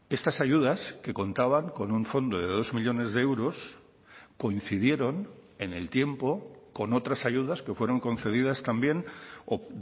estas ayudas que contaban con un fondo de dos millónes de euros coincidieron en el tiempo con otras ayudas que fueron concedidas también o